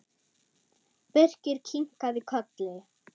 Birkir kinkaði kolli.